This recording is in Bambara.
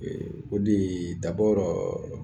O de